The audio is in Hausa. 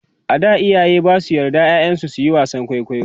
a da iyaye Basu yards ƴaƴan su suyi wasan kwaikwayo